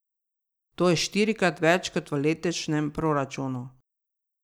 To je štirikrat več kot v letošnjem proračunu.